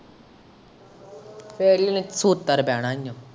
ਫੇਰ ਹੀ ਇਹਨੇ ਸੁਧਰ ਪੈਣਾ ਈ ਏ।